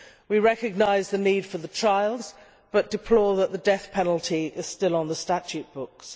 We recognise the need for the trials, but deplore that the death penalty is still on the statute books.